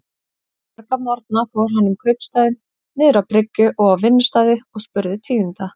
Marga morgna fór hann um kaupstaðinn, niður á bryggju og á vinnustaði, og spurði tíðinda.